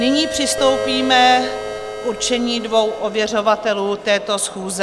Nyní přistoupíme k určení dvou ověřovatelů této schůze.